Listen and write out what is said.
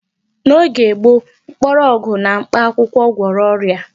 N'oge gboo, mkpọrọgwụ na mkpakwụkwọ gwọrọ ọrịa.